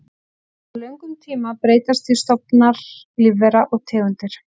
Á löngum tíma breytast því stofnar lífvera og tegundir.